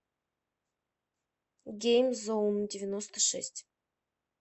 геймзоундевяностошесть